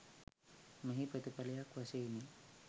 මෙහි ප්‍රතිඵලයක් වශයෙනි.